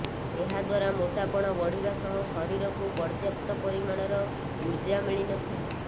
ଏହା ଦ୍ବାରା ମୋଟାପଣ ବଢ଼ିବା ସହ ଶରୀରକୁ ପର୍ୟ୍ୟପ୍ତ ପରିମାଣର ଉର୍ଜା ମିଳିନଥାଏ